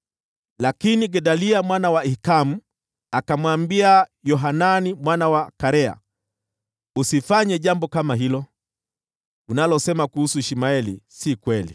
Lakini Gedalia mwana wa Ahikamu akamwambia Yohanani mwana wa Karea, “Usifanye jambo kama hilo! Unalosema kuhusu Ishmaeli si kweli.”